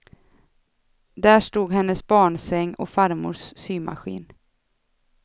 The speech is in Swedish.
Där stod hennes barnsäng och farmors symaskin.